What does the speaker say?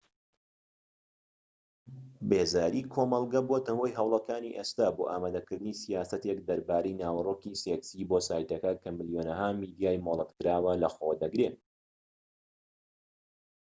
بێزاری کۆمەڵگە بۆتە هۆی هەوڵەکانی ئێستا بۆ ئامادەکردنی سیاسەتێک دەربارەی ناوەرۆکی سێكسی بۆ سایتەکە کە ملیۆنەها میدیای مۆڵەت کراوە لە خۆ دەگرێت